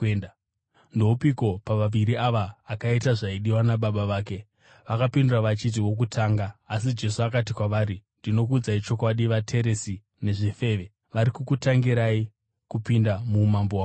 “Ndoupiko pavaviri ava akaita zvaidiwa nababa vake?” Vakapindura vachiti, “Wokutanga.” Jesu akati kwavari, “Ndinokuudzai chokwadi, vateresi nezvifeve vari kukutangirai kupinda muumambo hwaMwari.